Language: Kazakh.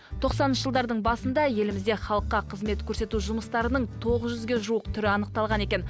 тоқсаныншы жылдардың басында елімізде халыққа қызмет көрсету жұмыстарының тоғыз жүзге жуық түрі анықталған екен